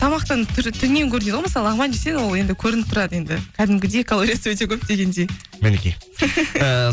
тамақтан түрінен көрінеді ғой мысалы лағман жесең ол енді көрініп тұрады енді кәдімгідей калориясы өте көп дегендей мінекей